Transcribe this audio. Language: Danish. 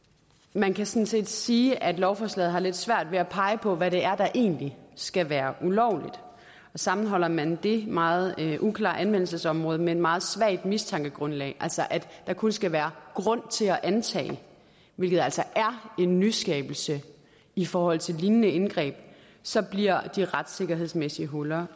man kan sådan set sige at lovforslaget har lidt svært ved at pege på hvad det er der egentlig skal være ulovligt sammenholder man det meget uklare anvendelsesområde med et meget svagt mistankegrundlag altså at der kun skal være grund til at antage hvilket altså er en nyskabelse i forhold til lignende indgreb så bliver de retssikkerhedsmæssige huller